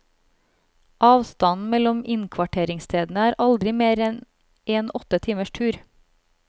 Avstanden mellom inkvarteringsstedene er aldri mer enn en åtte timers tur.